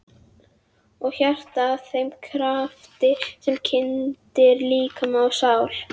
Og hjartað að þeim krafti sem kyndir líkama og sál?